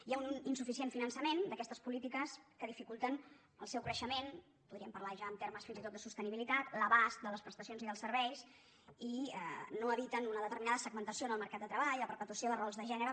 hi ha un insuficient finançament d’aquestes polítiques que dificulta el seu creixement podríem parlar ja en termes fins i tot de sostenibilitat l’abast de les prestacions i dels serveis i no eviten una determinada segmentació en el mercat de treball la perpetuació de rols de gènere